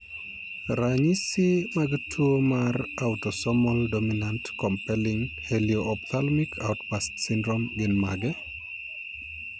Ranyisi mag tuwo marautosomal dominant compelling helio ophthalmic outburst syndrome gin mage?